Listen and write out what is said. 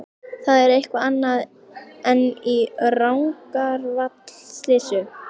Það er eitthvað annað en í Rangárvallasýslu.